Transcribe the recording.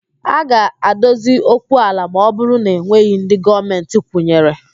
A ga-adozi okwu ala ma ọ bụrụ na enweghị ndị Gọọmentị kwụnyere